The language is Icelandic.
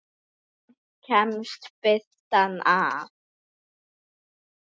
Samt kemst birtan að.